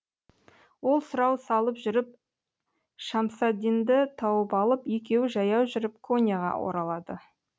ол сұрау салып жүріп шәмсаддинді тауып алып екеуі жаяу жүріп коньяға оралады